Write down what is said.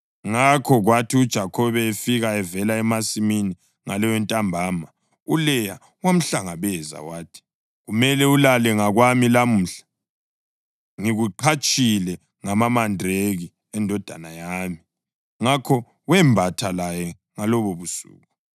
Ngakho kwathi uJakhobe efika evela emasimini ngaleyontambama, uLeya wamhlangabeza wathi, “Kumele ulale ngakwami lamuhla. Ngikuqhatshile ngamamandraki endodana yami.” Ngakho wembatha laye ngalobobusuku.